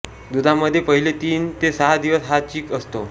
दुधामध्ये पहिले तीन ते सहा दिवस हा चीक असतो